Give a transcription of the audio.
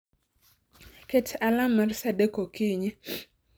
Ket alarm mar saa adek okinyi